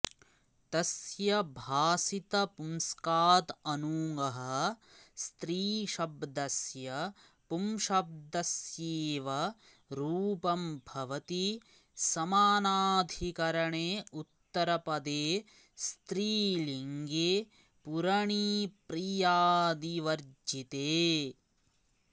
तस्य भासितपुंस्काऽदनूङः स्त्रीशब्दस्य पुंशब्दस्येव रूपं भवति समानाधिकरणे उत्तरपदे स्त्रीलिङ्गे पूरणीप्रियादिवर्जिते